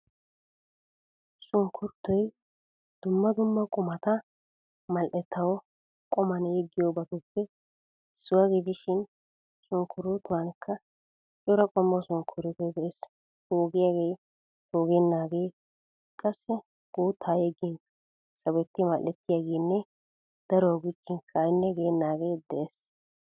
Sunkuruutoy dumma dumma qumata mall"ettawu quman yeggiyoobatuppe issuwaa gidishin sunkkuruutuwanikka cora qommo sunkkuruutoy de'ees. Poogiyaagee, poogennaagee qassi guuttaa yeggin sawetti madhettiyaageenne daruwaa gujjinkka aynne geennaagee de'ees.